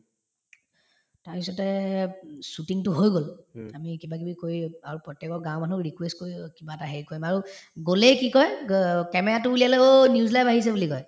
তাৰপিছতে উম shooting তো হৈ গল আমি কিবাকিবি কৰি আৰু প্ৰত্যেকৰ গাওঁৰ মানুহক request কৰি অ কিবা এটা হেৰি কৰিম আৰু গলেই কি কই গ camera তো উলিয়ালে অ news live আহিছে বুলি কয়